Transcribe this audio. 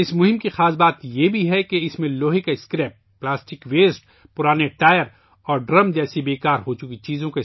اس مہم کی خاص بات یہ ہے کہ اس مہم میں لوہے کا اسکریپ، پلاسٹک کا کچرا، پرانے ٹائر اور ڈرم استعمال کئے گئے ہیں